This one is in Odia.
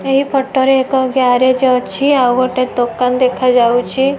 ଏହି ଫଟ ରେ ଏକ ଗ୍ୟାରେଜ ଅଛି। ଆଉ ଗୋଟେ ଦୋକାନ ଦେଖା ଯାଉଚି।